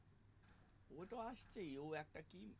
ও তো আসছেই ও একটা কি